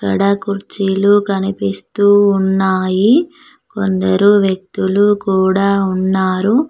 ఇగడ కుర్చీలు కనిపిస్తూ ఉన్నాయి కొందరు వ్యక్తులు కూడా ఉన్నారు.